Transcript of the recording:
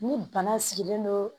Ni bana sigilen don